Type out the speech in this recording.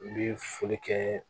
U bi foli kɛ